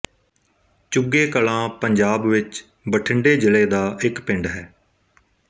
ਚੁੱਗੇ ਕਲਾਂ ਪੰਜਾਬ ਵਿੱਚ ਬਠਿੰਡੇ ਜ਼ਿਲ੍ਹੇ ਦਾ ਇੱਕ ਪਿੰਡ ਹੈ